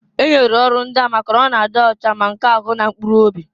E nyere ya ọrụ ndịa maka n'ọ na-adị ocha, ma nke ahu na nke mkpuru obi.